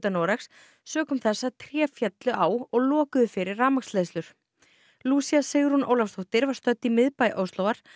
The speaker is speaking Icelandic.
Noregs sökum þess að tré féllu á og lokuðu fyrir rafmagnsleiðslur Sigrún Ólafsdóttir var stödd í miðbæ Óslóar